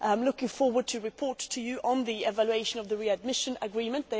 I am looking forward to reporting to you on the evaluation of the readmission agreement.